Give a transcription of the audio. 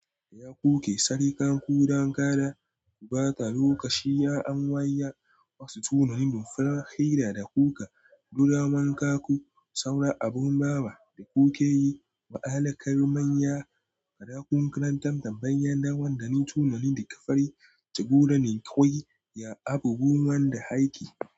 Ya kuke sarƙa ku don kada ku ɓata lokaci? An wayya wasu tunanin don farar hira da kuka, duba wanka ku, saura abin bawa da kuke yi. Ma'alakar manya, faɗakunkaranta tambayoyin da wanda ne tunanin da ka fari jagora ne kawai. Ya abu goma da haƙi.